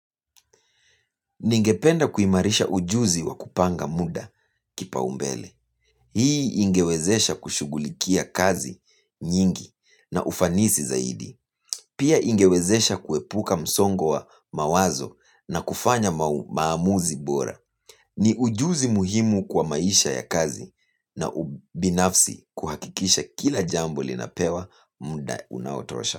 Ningependa kuimarisha ujuzi wa kupanga muda kipao mbele. Hii ingewezesha kushugulikia kazi nyingi na ufanisi zaidi. Pia ingewezesha kuepuka msongo wa mawazo na kufanya maamuzi bora. Ni ujuzi muhimu kwa maisha ya kazi na ubinafsi kuhakikisha kila jambo linapewa muda unaotosha.